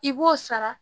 I b'o sara